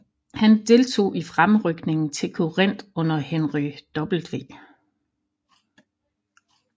Han deltog i fremrykningen til Corinth under Henry W